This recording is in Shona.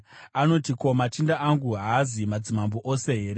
Anoti, ‘Ko, machinda angu haazi madzimambo ose here?